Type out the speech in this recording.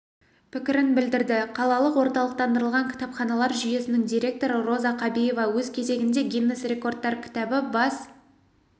пікірін білдірді қалалық орталықтандырылған кітапханалар жүйесінің директоры роза қабиева өз кезегінде гиннесс рекордтар кітабы бас